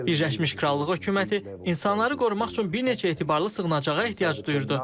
Birləşmiş Krallığı hökuməti insanları qorumaq üçün bir neçə etibarlı sığınacağa ehtiyac duyurdu.